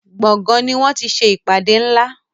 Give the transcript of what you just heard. gboôgan ní wón tí ṣe ìpàdé nlá.